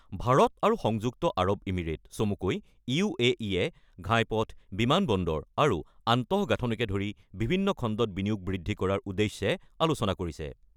ভাৰত আৰু সংযুক্ত Arab Emirate চমুকৈ ইউ.এ.ই.য়ে ঘাইপথ, বিমান বন্দৰ আৰু আন্তঃগাঁথনিকে ধৰি বিভিন্ন খণ্ডত বিনিয়োগ বৃদ্ধি কৰাৰ উদ্দেশ্যে আলোচনা কৰিছে।